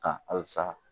Ka halisa